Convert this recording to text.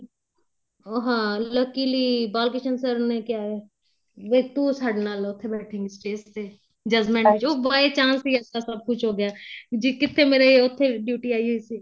ਹਾਂ luckily Bal Krishan sir ਨੇ ਕਿਹਾ ਬੀ ਤੂੰ ਸਾਡੇ ਨਾਲ ਉੱਥੇ ਬੈਠੀ ਗੀ stage ਤੇ judgment ਚੋ by chance ਹੀ ਇਸ ਤਰ੍ਹਾਂ ਸਭ ਕੁੱਝ ਹੋ ਗਿਆ ਜੀ ਕਿੱਥੇ ਮੇਰੀ ਉੱਥੇ duty ਆਈ ਹੋਈ ਸੀ